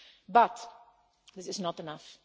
But this is not enough.